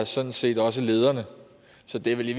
sådan set også lederne så det er vel i